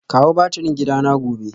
Kawo batirin gidana gobe